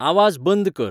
आवाज बंंद कर